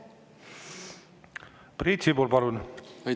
Priit Sibul, palun!